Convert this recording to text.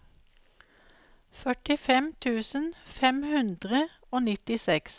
førtifem tusen fem hundre og nittiseks